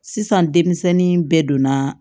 Sisan denmisɛnnin bɛɛ donna